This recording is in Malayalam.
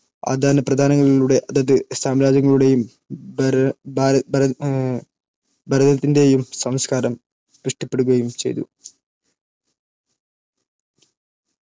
ആദാനപ്രദാനങ്ങളിളൂടെ അതത് സാമ്രാജ്യങ്ങളുടെയും ഭരതത്തിന്റെയും സംസ്കാരം പുഷ്ടിപ്പെടുകയും ചെയ്തു